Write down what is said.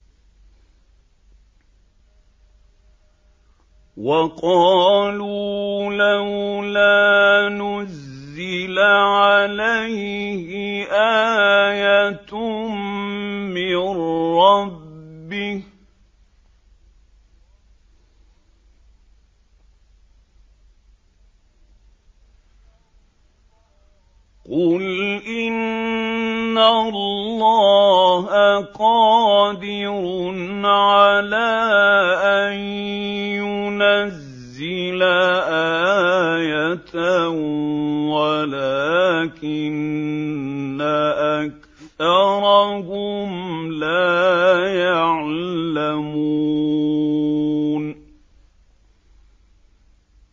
وَقَالُوا لَوْلَا نُزِّلَ عَلَيْهِ آيَةٌ مِّن رَّبِّهِ ۚ قُلْ إِنَّ اللَّهَ قَادِرٌ عَلَىٰ أَن يُنَزِّلَ آيَةً وَلَٰكِنَّ أَكْثَرَهُمْ لَا يَعْلَمُونَ